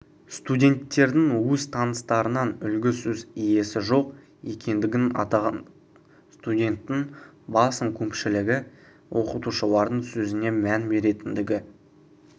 студенттердің өз таныстарынан үлгі сөз иесі жоқ екендігін атаған студенттің басым көпшілігі оқытушылардың сөзіне мән беретіндігі